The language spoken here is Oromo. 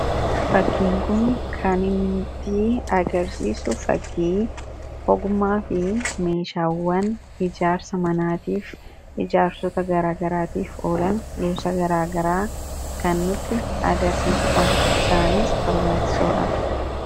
Fakkiin kun kan nutti tii agarsiisu fakkii ogummaa fi meeshaawwan ijaarsa manaatiif ijaarsota garaagaraatiif oolan boca garaagaraa kannutti agarsiisuudha isaaniis barbaachisoodha.